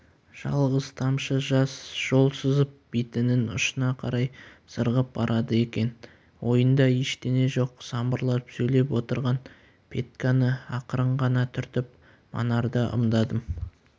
жалғыз тамшы жас жол сызып бетінің ұшына қарай сырғып барады екен ойында ештеңе жоқ самбырлап сөйлеп отырған петьканы ақырын ғана түртіп манарды ымдадым